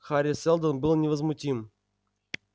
хари сэлдон был невозмутим